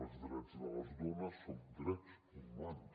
els drets de les dones són drets humans